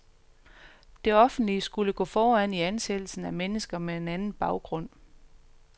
Det offentlige skulle gå foran i ansættelsen af mennesker med en anden baggrund.